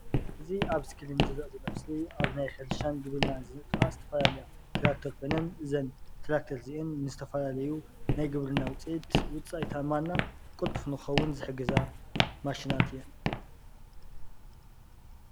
እዚ ኣብ እስክሪን ዝርአ ዘሎ ምስሊ ኣብ ናይ ሕርሻን ግብርናን ንጥፈታት ዝተፈላለያ ትራክተር ኮይነን እዘን ትራክተር እዚአን ንዝተፈላለዩ ናይ ግብርና ውፅኢት ውፅኢታማ እና ቅልጡፍ ንኽኸውን ዝሕግዛ ማሽናት እየን፡፡